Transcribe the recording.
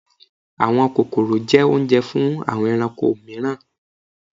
Àwọn kókórò jẹ́ oúnjẹ fún àwọn ẹranko mìíràn